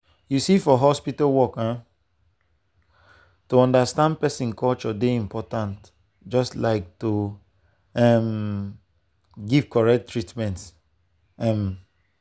you see for hospital work um to to understand person culture dey important just like to um give correct treatment. um